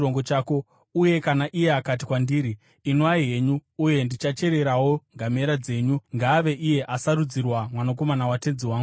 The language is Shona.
uye kana iye akati kwandiri, “Inwai henyu, uye ndichachererawo ngamera dzenyu,” ngaave iye asarudzirwa mwanakomana watenzi wangu naJehovha.’